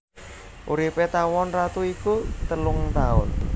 Uripé tawon ratu iku telung taun